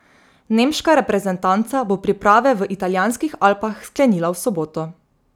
Nemška reprezentanca bo priprave v italijanskih Alpah sklenila v soboto.